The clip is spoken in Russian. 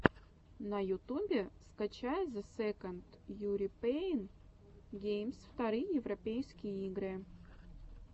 на ютубе скачай зе сэконд юропиэн геймс вторые европейские игры